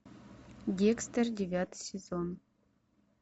декстер девятый сезон